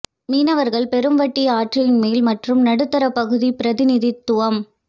மீனவர்கள் பெரும் வட்டி ஆற்றின் மேல் மற்றும் நடுத்தர பகுதி பிரதிநிதித்துவம்